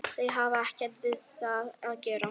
Þau hafa ekkert við það að gera